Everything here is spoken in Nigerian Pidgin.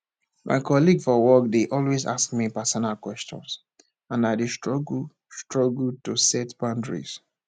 my colleague for work dey always ask me personal questions and i dey struggle struggle to set boundaries